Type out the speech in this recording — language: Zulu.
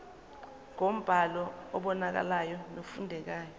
ngombhalo obonakalayo nofundekayo